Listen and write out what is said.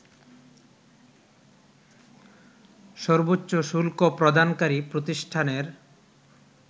সর্বোচ্চ শুল্ক প্রদানকারী প্রতিষ্ঠানের